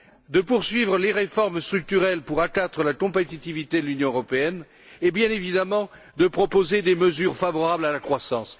de poursuivre les réformes structurelles pour accroître la compétitivité de l'Union européenne et, bien évidemment, de proposer des mesures favorables à la croissance.